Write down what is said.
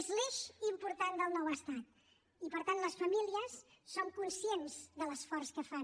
és l’eix important del nou estat i per tant les famílies som conscients de l’esforç que fan